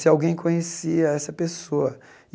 se alguém conhecia essa pessoa.